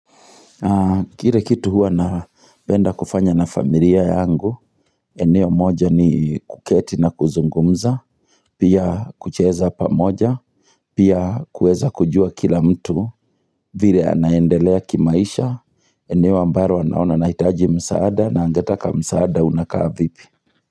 Kile kitu hua napenda kufanya na familia yangu, eneo moja ni kuketi na kuzungumza, pia kucheza pamoja, pia kuweza kujua kila mtu, vile anaendelea kimaisha, eneo ambaro anaona anahitaji msaada na angataka msaada unakaa vipi.